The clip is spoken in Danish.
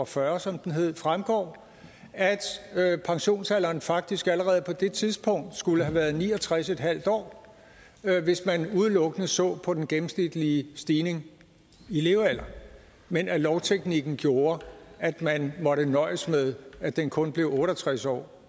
fyrre som den hed fremgår at at pensionsalderen faktisk allerede på det tidspunkt skulle have været ni og tres en halv år hvis man udelukkende så på den gennemsnitlige stigning i levealder men at lovteknikken gjorde at man måtte nøjes med at den kun blev otte og tres år